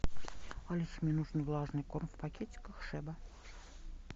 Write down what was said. алиса мне нужен влажный корм в пакетиках шеба